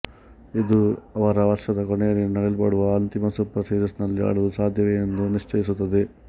ಇದು ಅವರು ವರ್ಷದ ಕೊನೆಯಲ್ಲಿ ನಡೆಯಲ್ಪಡುವ ಅಂತಿಮ ಸೂಪರ್ ಸೀರಿಸ್ ನಲ್ಲಿ ಆಡಲು ಸಾದ್ಯವೆ ಎಂದು ನಿಶ್ಚಯಿಸುತ್ತದೆ